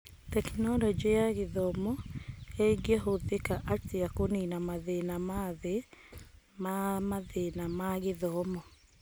Tekinoronjĩ ya Gĩthomo ĩngĩhũthĩka atĩa kũnina mathĩna ma thĩ ma mathĩna ma gĩthomo?